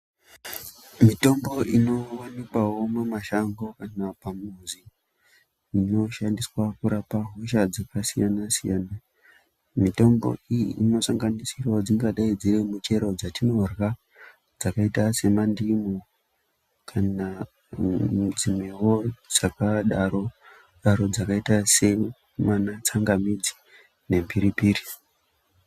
Mitombo inowanikwawo mumashango kana pamuzi inoshandiswa kurapa hosha dzakasiyana-siyana. Mitombo iyi inosanganisira dzingadai dziri michero dzatinorya, dzakaita semandimu kana midzi dzakadaro-daro dzakaita seana tsangamidzi nemhiripiri.